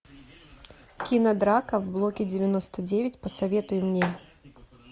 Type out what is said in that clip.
кинодрака в блоке девяносто девять посоветуй мне